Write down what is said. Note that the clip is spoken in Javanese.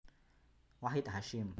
Wahid Hasyim